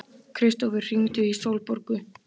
Kristófer, hringdu í Sólborgu.